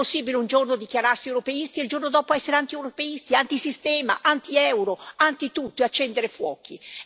Non è possibile un giorno dichiararsi europeisti e il giorno dopo essere antieuropeisti, antisistema, antieuro, antitutto, e accendere fuochi.